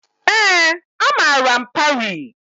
Ee, amara m Parii.